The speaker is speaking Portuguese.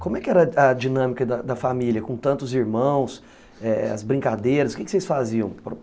Como é que era a a dinâmica da família, com tantos irmãos, eh...as brincadeiras, o que vocês faziam?